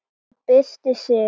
Og byrstir sig.